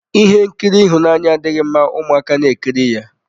Ihe nkiri ịhụnanya adịghị mma ụmụaka na ekiri ya.